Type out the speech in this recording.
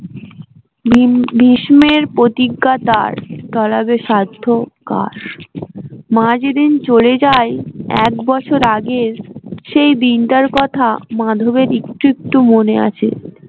ভিম ভীষ্মের প্রতিজ্ঞা তার টলাবে সাধ্য কার মা যেদিন চলে যায় একবছর আগের সেই দিন টার কথা মাধবের একটু একটু মনে আছে